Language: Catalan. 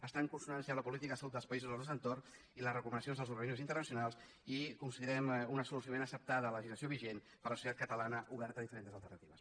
està en consonància amb la política de salut dels països del nostre entorn i les recomanacions dels organismes internacionals i considerem una solució ben acceptada la legislació vigent per la societat catalana oberta a diferents alternatives